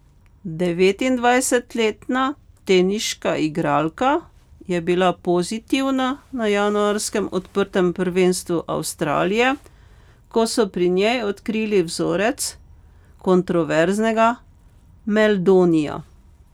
Devetindvajsetletna teniška igralka je bila pozitivna na januarskem odprtem prvenstvu Avstralije, ko so pri njej odkrili vzorec kontroverznega meldonija.